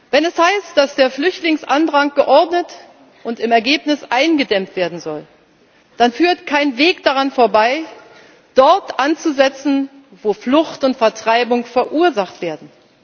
Wenn es heißt, dass der Flüchtlingsandrang geordnet und im Ergebnis eingedämmt werden soll, dann führt kein Weg daran vorbei, dort anzusetzen, wo Flucht und Vertreibung verursacht werden.